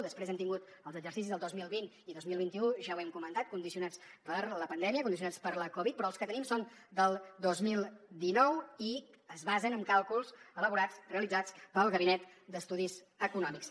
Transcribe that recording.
després hem tingut els exercicis del dos mil vint i del dos mil vint u ja ho hem comentat condicionats per la pandèmia condicionats per la covid però les que tenim són del dos mil dinou i es basen en càlculs elaborats realitzats pel gabinet d’estudis econòmics